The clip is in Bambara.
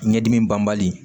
Ɲɛdimi banbali